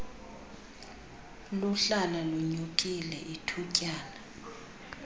luhlala lunyukile ithutyana